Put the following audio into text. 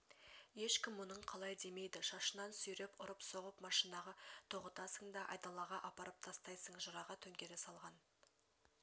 ешкім мұның қалай демейді шашынан сүйреп ұрып-соғып машинаға тоғытасың да айдалаға апарып тастайсың жыраға төңкере салған